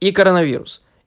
и коронавирус